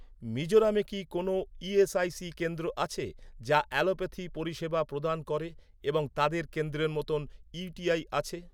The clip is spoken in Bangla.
মিজোরামে কি কোনও ইএসআইসি কেন্দ্র আছে, যা অ্যালোপ্যাথি পরিষেবা প্রদান করে এবং তাদের কেন্দ্রের মতো ইউটিআই আছে?